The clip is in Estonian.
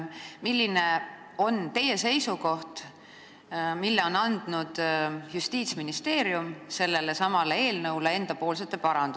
Milline on teie seisukoht Justiitsministeeriumi esitatud paranduste kohta sellelesamale eelnõule?